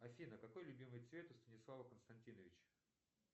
афина какой любимый цвет у станислава константиновича